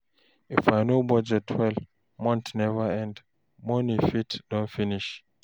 If I no budget well, month never end, money fit don finish.